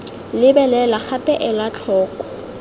lebelela gape ela tlhoko ii